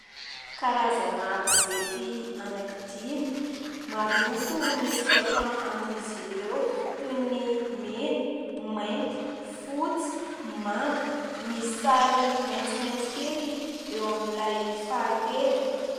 Karazana gazety anankidimy maro loko. Ny soratra amin'izy ireo : toy ny mena, mainty, fotsy, manga, misy sary maitsomaitso kely eo amin'ilay fahatelo.